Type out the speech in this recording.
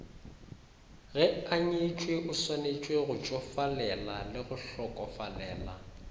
ge anyetšweo swanetšegotšofalelale go hlokofalela